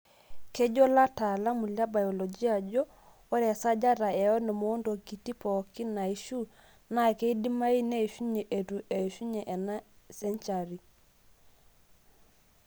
Kejo lataalamu le biolojia ajo ore esajata e onom oontokiti pooki naishu naa keidimayu neishunye eitu eishunye ena senchari.